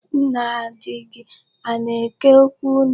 Nna di gị ana-eke okwu unu?